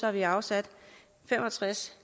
har vi afsat fem og tres